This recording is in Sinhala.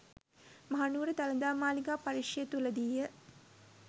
මහනුවර දළදා මාලිගා පරිශ්‍රය තුළදීය.